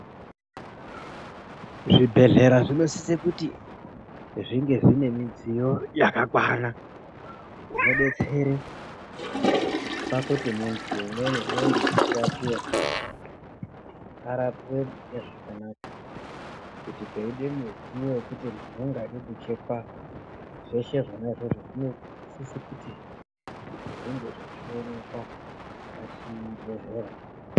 Zvibhedhlera zvinosisa kuti zvinge zvine midziyo yakakwana inodetsera pakuti muntu umweni anenge achirapiwa arapiwe nezvakanaka kuti peida mudziyo wekuti munhu anoda kuchekwa zveshe zvona izvozvo muntu anosisa kuti zvinge zvichipnekwa pachibhedhlera.